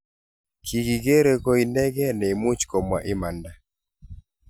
kikikeree koinekee nemuch komwaa imanda